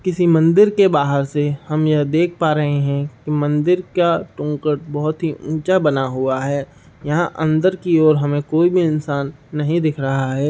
किसी मंदिर के बाहर से हम यह देख पा रहे है कि मंदिर का बहुत ही ऊँचा बना हुआ है। यहाँ अंदर की ओर हमें कोई भी इंसान नहीं दिख रहा है।